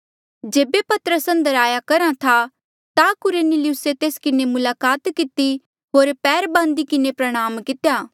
जेबे पतरस अंदर आया करहा था ता कुरनेलियुसे तेस किन्हें मुलाकात किती होर पैर बांदी किन्हें प्रणाम कितेया